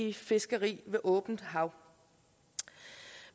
i fiskeri på åbent hav